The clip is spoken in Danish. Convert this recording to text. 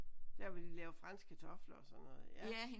Der hvor de laver franske kartofler og sådan noget ja